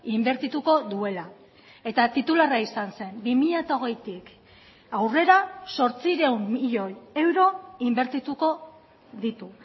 inbertituko duela eta titularra izan zen bi mila hogeitik aurrera zortziehun milioi euro inbertituko ditu